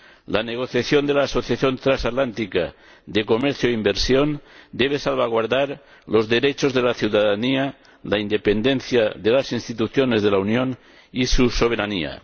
La negociación de la Asociación Transatlántica de Comercio e Inversión debe salvaguardar los derechos de la ciudadanía, la independencia de las Instituciones de la Unión y su soberanía.